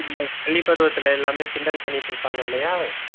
இந்த பள்ளி பருவத்தில் எல்லோரும் கிண்டல் பண்ணிட்டு இருப்பாங்க இல்லையா?